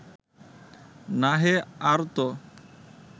না হে, আর ত